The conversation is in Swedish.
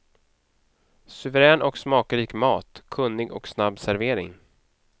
Suverän och smakrik mat, kunnig och snabb servering.